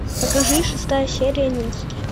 покажи шестая серия невский